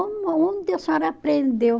Onde a senhora aprendeu?